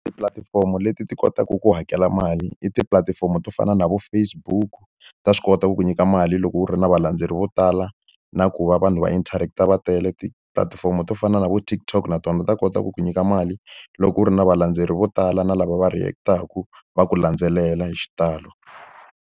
Tipulatifomo leti ti kotaka ku hakela mali i tipulatifomo to fana na vo Facebook. Ta swi kota ku ku nyika mali loko u ri na valandzeri vo tala na ku va vanhu va interact-a va tele. Tipulatifomo to fana na vo TikTok na tona ta kota ku ku nyika mali loko u ri na valendzeleri vo tala, na lava va react-aka, va ku landzelela hi xitalo.